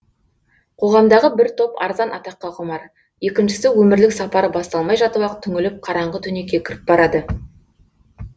қоғамдағы бір топ арзан атаққа құмар екіншісі өмірлік сапары басталмай жатып ақ түңіліп қараңғы түнекке кіріп барады